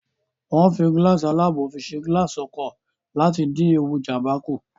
Wọ́n ń fi gíláàsì alábò fi ṣe gilaasi ọkọ̀ láti dín ewu Ìjàmbá kù